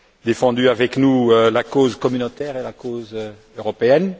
défendu avec nous la cause communautaire et la cause européenne.